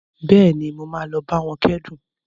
Bẹ́ẹ̀ni, mo máa lọ bá wọn kẹ́dùn